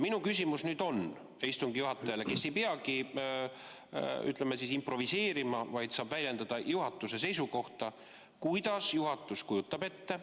Minu küsimus on aga istungi juhatajale, kes ei peagi, ütleme, improviseerima, vaid saab väljendada juhatuse seisukohta, kuidas juhatus kujutab ette.